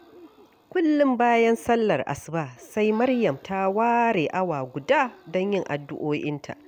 Kullum bayan sallar asuba sai Maryam ta ware awa guda don yin addu'o'inta